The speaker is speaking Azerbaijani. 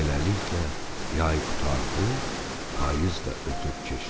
Beləliklə, yay qurtardı, payız da ötüb keçdi.